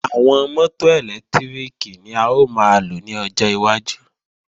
Àwọn mọ́tò ẹ̀lẹ́tíríkì ni a ó máa lò ní ọjọ́ iwájú